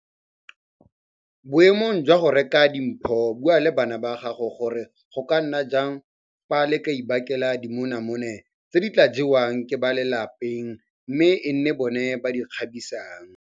Boemong jwa go reka di mpho bua le bana ba gago gore go ka nna jang fa le ka ibakela dimonamone tse di tla jewang ke ba ka fa lapeng mme e nne bona ba di kgabisang.